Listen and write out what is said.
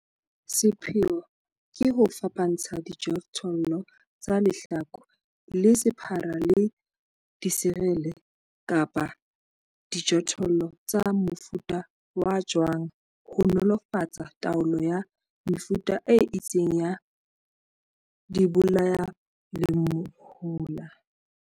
Sepheo ke ho fapantsha dijothollo tsa lehlaku le sephara le diserele kapa dijothollo tsa mofuta wa jwang ho nolofatsa taolo ya mefuta e itseng ya dibolayalehola.